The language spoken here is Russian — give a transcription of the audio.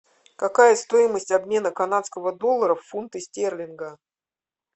какая стоимость обмена канадского доллара в фунты стерлинга